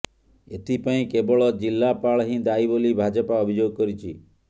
ଏଥିପାଇଁ କେବଳ ଜିଲାପାଳହିଁ ଦାୟୀ ବୋଲି ଭାଜପା ଅଭିଯୋଗ କରିଛି